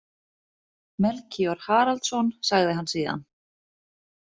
Melkíor Haraldsson, sagði hann síðan.